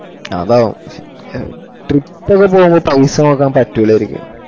അതാണ് ഷേ trip ഒക്ക പോവുമ്പൊ പൗസ നോക്കാൻ പറ്റൂലയ്‌ക്കും